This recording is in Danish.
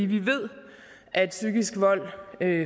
vi ved at psykisk vold